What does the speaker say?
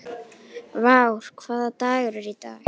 Vár, hvaða dagur er í dag?